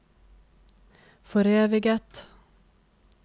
foreviget